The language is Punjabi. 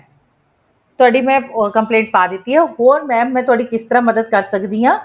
ਤੁਹਾਡੀ ਮੈਂ complaint ਪਾ ਦਿੱਤੀ ਹੈ ਹ਼ੋਰ mam ਮੈਂ ਤੁਹਾਡੀ ਕਿਸ ਤਰ੍ਹਾਂ ਮਦਦ ਕਰ ਸਕਦੀ ਹਾਂ